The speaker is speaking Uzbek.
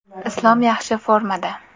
Islom yaxshi formada.